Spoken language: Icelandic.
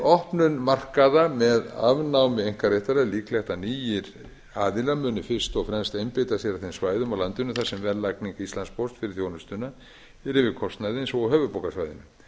opnun markaða með afnámi einkaréttar er líklegt að nýir aðilar munu fyrst og fremst einbeita sér að þeim svæðum á landinu þar sem verðlagning íslandspósts fyrir þjónustuna er yfir kostnaði eins og á höfuðborgarsvæðinu